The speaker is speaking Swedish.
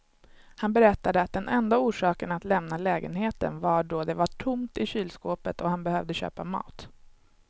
Han berättade att den enda orsaken att lämna lägenheten var då det var tomt i kylskåpet och han behövde köpa mat.